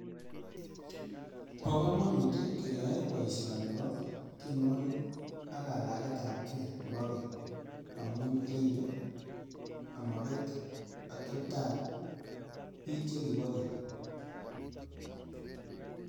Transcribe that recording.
Bo komonut tii keyoe boishoni bo tyenuoki ak kalaget ab gee nebo geny ngamun ribe omobet oteptap bik chekibo geny.